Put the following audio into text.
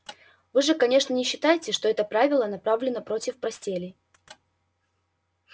вы же конечно не считаете что это правило направлено против постелей